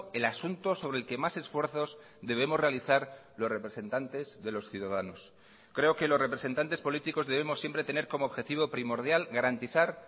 el asunto sobre el que más esfuerzos debemos realizar los representantes de los ciudadanos creo que los representantes políticos debemos siempre tener como objetivo primordial garantizar